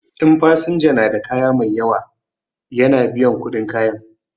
In fasinja na da kaya mai yawa ya na biyan kuɗin kayan.